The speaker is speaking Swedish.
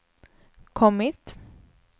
kommit